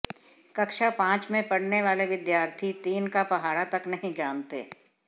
कक्षा पांच में पढ़ने वाले विद्यार्थी तीन का पहाड़ा तक नहीं जानते